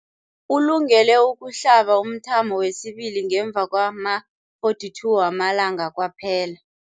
Ulungele ukuhlaba umthamo wesibili ngemva kwama-42 wamalanga kwaphela.